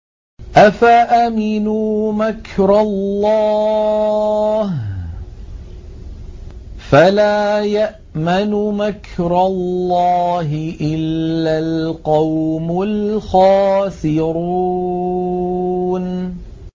أَفَأَمِنُوا مَكْرَ اللَّهِ ۚ فَلَا يَأْمَنُ مَكْرَ اللَّهِ إِلَّا الْقَوْمُ الْخَاسِرُونَ